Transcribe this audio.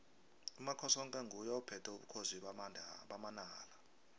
umakhosoke nguye ophethe ubukhosi bamanala